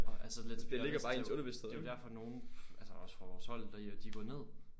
Og altså let's be honest det jo det jo derfor nogen altså også fra vores hold der jo de går ned